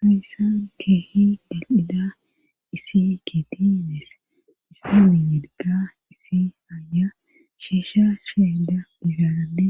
haysan keehi daqqida isi gidiinees issi wiyedka issi aya shiisha sheeda mizaarade